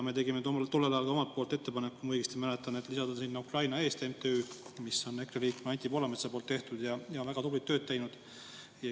Me tegime tollel ajal ka omalt poolt ettepaneku, kui ma õigesti mäletan, lisada sinna Ukraina Eest MTÜ, mis on EKRE liikme Anti Poolametsa asutatud ja väga tublit tööd teinud.